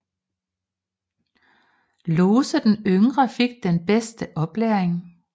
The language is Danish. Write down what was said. Lose den yngre fik den bedste oplæring